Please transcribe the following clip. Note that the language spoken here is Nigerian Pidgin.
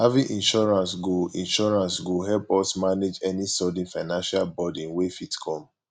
having insurance go insurance go help us manage any sudden financial burden wey fit come